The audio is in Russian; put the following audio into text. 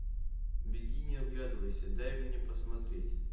беги не оглядывайся дай мне посмотреть